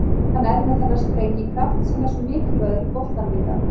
Hann er með þennan sprengikraft sem er svo mikilvægur í boltanum í dag.